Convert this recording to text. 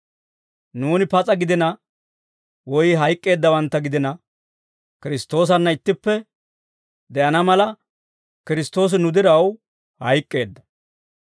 Nuuni pas'a gidina woy hayk'k'eeddawantta gidina, Kiristtoosanna ittippe de'ana mala, Kiristtoosi nu diraw hayk'k'eedda.